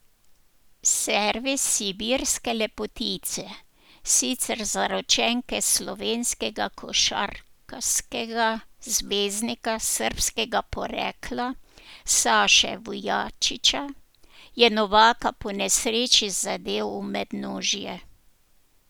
Servis sibirske lepotice, sicer zaročenke slovenskega košarkarskega zvezdnika srbskega porekla Saše Vujačića, je Novaka ponesreči zadel v mednožje.